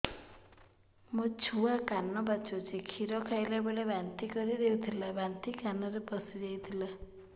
ମୋ ଛୁଆ କାନ ପଚୁଛି କ୍ଷୀର ଖାଇଲାବେଳେ ବାନ୍ତି କରି ଦେଇଥିଲା ବାନ୍ତି କାନରେ ପଶିଯାଇ ଥିଲା